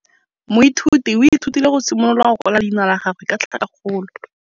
Moithuti o ithutile go simolola go kwala leina la gagwe ka tlhakakgolo.